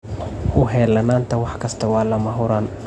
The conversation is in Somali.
U heelanaanta wax kasta waa lama huraan.